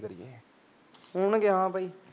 ਚਲੋ ਹੋਣ ਗੇ ਹਾਂ ਬਾਈ